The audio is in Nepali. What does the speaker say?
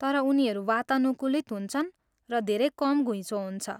तर उनीहरू वातानुकूलित हुन्छन् र धेरै कम घुइँचो हुन्छ।